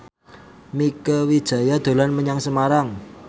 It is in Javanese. Mieke Wijaya dolan menyang Semarang